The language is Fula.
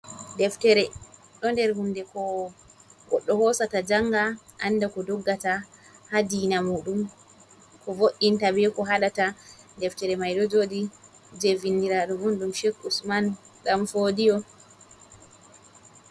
Deftere ɗo nder hunde ko goɗɗo hosata janga anda ko doggata ha diina muɗum ko vo’’inta be ko haɗata, deftere mai ɗo joɗi je vindiradu un ɗum sheik usman ɗan fodiyo.